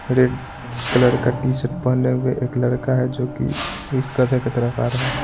Red colour का T-shirt पहने हुए एक लड़का है जो कि इस गधे की तरफ आ रहा है।